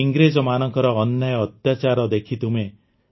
ଇଂରେଜମାନଙ୍କ ଅନ୍ୟାୟ ଅତ୍ୟାଚାର ଦେଖି ତୁମେ